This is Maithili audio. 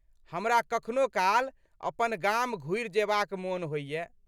हमरा कखनो काल अपन गाम घुरि जेबाक मोन होइए।